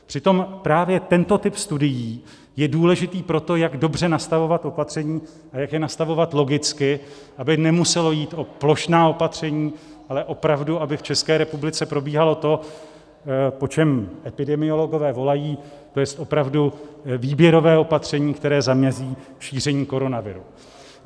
Přitom právě tento typ studií je důležitý pro to, jak dobře nastavovat opatření, a jak je nastavovat logicky, aby nemuselo jít o plošná opatření, ale opravdu aby v České republice probíhalo to, po čem epidemiologové volají, to jest opravu výběrové opatření, které zamezí šíření koronaviru.